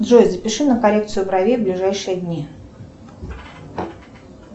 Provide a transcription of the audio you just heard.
джой запиши на коррекцию бровей в ближайшие дни